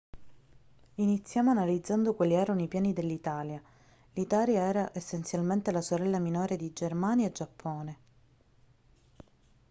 iniziamo analizzando quali erano i piani dell'italia l'italia era essenzialmente la sorella minore di germania e giappone